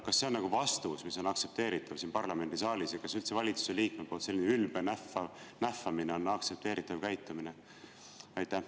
Kas see on vastus, mis on aktsepteeritav siin parlamendisaalis, ja kas üldse valitsuse liikme selline ülbe nähvamine on aktsepteeritav käitumine?